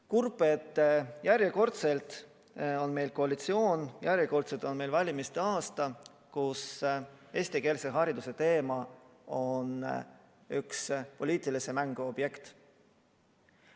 Kurb, et järjekordselt on meil koalitsioon, kelle jaoks sel järjekordsel valimiste aastal on eestikeelse hariduse teema üks poliitilise mängu objekte.